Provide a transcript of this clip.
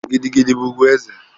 Gidi gidi bụ ugwu eze.